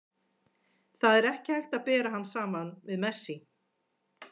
Það er ekki hægt að bera hann saman við Messi.